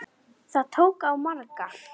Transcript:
Það tók á marga.